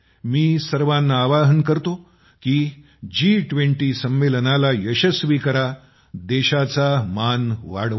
मी सर्वांना आवाहन करतो जी २० संमेलनाला यशस्वी करा देशाचा मान वाढवा